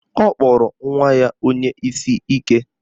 Ọ kpọrọ nwa ya onye isi ike